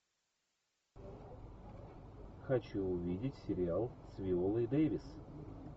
хочу увидеть сериал с виолой дэвис